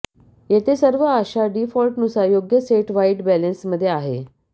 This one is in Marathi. येथे सर्व आशा डीफॉल्टनुसार योग्य सेट व्हाईट बॅलेन्समध्ये आहे